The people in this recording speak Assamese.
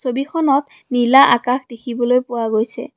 ছবিখনত নীলা আকাশ দেখিবলৈ পোৱা গৈছে।